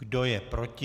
Kdo je proti?